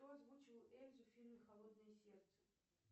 кто озвучивал эльзу в фильме холодное сердце